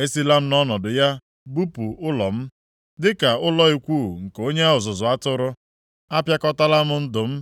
Esila nʼọnọdụ ya bupụ ụlọ m dịka ụlọ ikwu nke onye ọzụzụ atụrụ. Apịakọtala m ndụ m